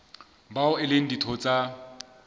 bao e leng ditho tsa